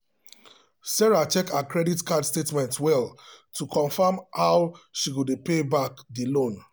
sarah check her credit card statement well to confirm how she go dey pay back the loan.